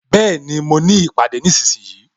Bẹẹni, mo ní ìpàdé nísinsìnyí